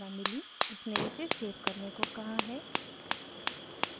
उसने इसे सेव करने को कहा है